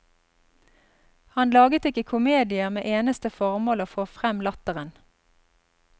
Han laget ikke komedier med eneste formål å få frem latteren.